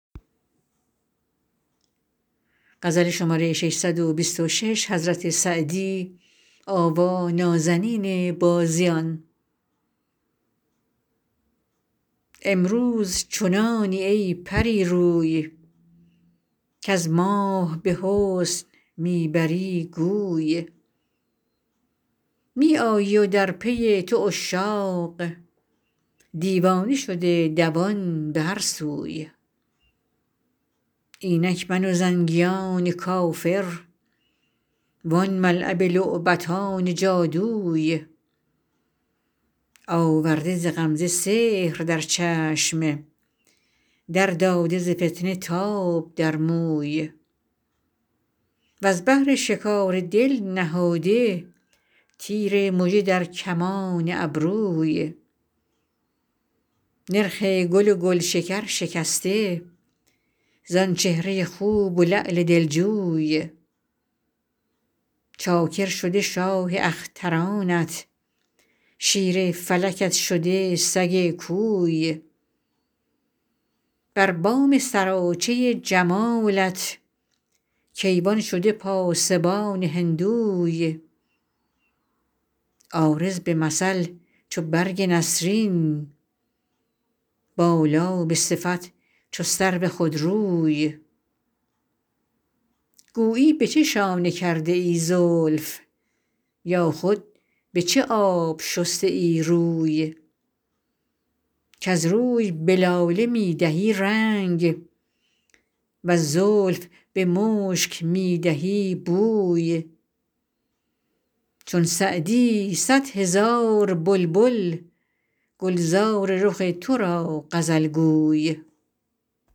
امروز چنانی ای پری روی کز ماه به حسن می بری گوی می آیی و در پی تو عشاق دیوانه شده دوان به هر سوی اینک من و زنگیان کافر وان ملعب لعبتان جادوی آورده ز غمزه سحر در چشم در داده ز فتنه تاب در موی وز بهر شکار دل نهاده تیر مژه در کمان ابروی نرخ گل و گلشکر شکسته زآن چهره خوب و لعل دلجوی چاکر شده شاه اخترانت شیر فلکت شده سگ کوی بر بام سراچه جمالت کیوان شده پاسبان هندوی عارض به مثل چو برگ نسرین بالا به صفت چو سرو خودروی گویی به چه شانه کرده ای زلف یا خود به چه آب شسته ای روی کز روی به لاله می دهی رنگ وز زلف به مشک می دهی بوی چون سعدی صد هزار بلبل گلزار رخ تو را غزل گوی